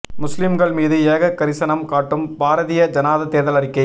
முஸ்லிம்கள் மீது ஏக கரிசனம் காட்டும் பாரதிய ஜனதா தேர்தல் அறிக்கை